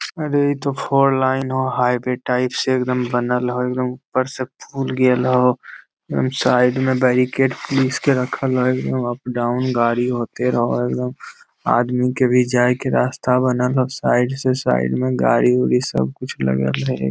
अरे इ ता फोर लाइन हो हाईवे टाइप से एकदम बनल हो एकदम उपर से पुल गइल हो साइड में बैरिकेड पुलिस के रखल हो उप - डाउन गाड़ी होते रहो हो एकदम आदमी के भी जाए के रास्ता बनल हो साइड से साइड गाड़ी-उड़ी सब कुछ लगल है।